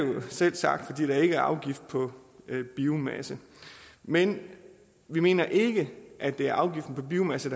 selvsagt fordi der ikke er afgift på biomasse men vi mener ikke at det er afgiften på biomasse